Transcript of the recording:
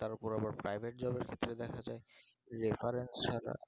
তার ওপর আবার private job ক্ষেত্রে দেখা যাই reference ছাড়া